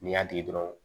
N'i y'a tigɛ dɔrɔn